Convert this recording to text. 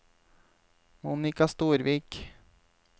Monika Storvik